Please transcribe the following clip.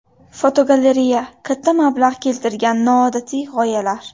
Fotogalereya: Katta mablag‘ keltirgan noodatiy g‘oyalar.